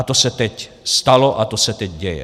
A to se teď stalo a to se teď děje.